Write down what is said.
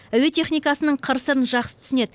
әуе техникасының қыр сырын жақсы түсінеді